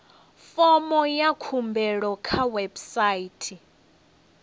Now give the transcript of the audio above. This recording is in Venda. fomo ya khumbelo kha website